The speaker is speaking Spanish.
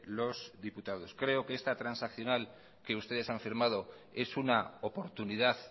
los diputados creo que esta transaccional que ustedes han firmado es una oportunidad